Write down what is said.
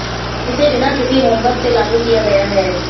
इसे बिना किसी होमवर्क से लागू किया गया है